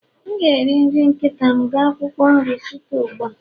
M ga-eri nri nkịta m ga akwụkwọ nri site ugbu a